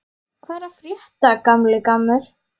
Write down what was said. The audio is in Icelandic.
Hvað er að frétta, gamli gammur?